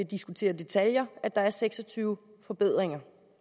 diskutere detaljer at der er seks og tyve forbedringer